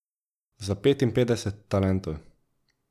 Za petinpetdeset talentov.